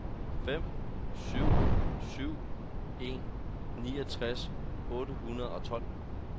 fem syv syv en niogtres otte hundrede og tolv